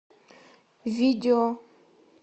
видео